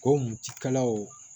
Ko mɔtikalaw